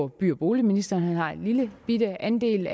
by og boligministeren han har også en lillebitte andel